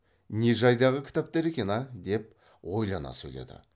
не жайдағы кітаптар екен ә деп ойлана сөйледі